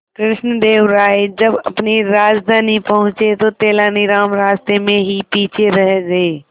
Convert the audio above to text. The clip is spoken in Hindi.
कृष्णदेव राय जब अपनी राजधानी पहुंचे तो तेलानीराम रास्ते में ही पीछे रह गए